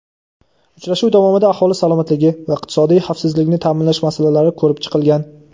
Uchrashuv davomida aholi salomatligi va iqtisodiy xavfsizlikni ta’minlash masalalari ko‘rib chiqilgan.